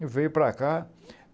E veio para cá.